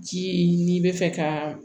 Ji n'i bɛ fɛ ka